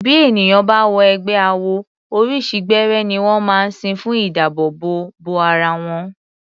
Bí ènìyàn bá wọ ẹgbẹ́ awo, oríṣi gbẹ́rẹ́ ní wọ́n máa ń sín fún ìdábòòbò bo ara wọn.